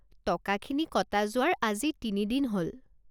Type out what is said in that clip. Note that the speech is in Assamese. টকাখিনি কটা যোৱাৰ আজি তিনি দিন হ'ল।